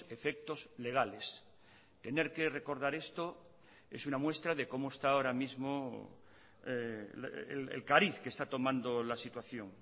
efectos legales tener que recordar esto es una muestra de cómo está ahora mismo el cariz que está tomando la situación